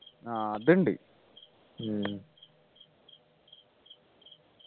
ആഹ് അത്ണ്ട്